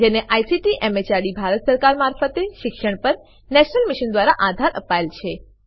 જેને ICT MHRD Bharat સરકાર મારફતે શિક્ષણ પર નેશનલ મિશન દ્વારા આધાર અપાયેલ છે